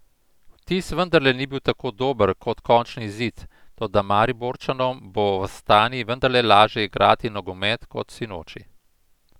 Vtis vendarle ni bil tako dober kot končni izid, toda Mariborčanom bo v Astani vendarle lažje igrati nogomet kot sinoči.